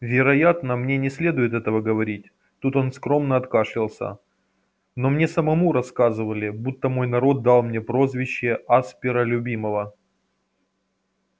вероятно мне не следует этого говорить тут он скромно откашлялся но мне самому рассказывали будто мой народ дал мне прозвище аспера любимого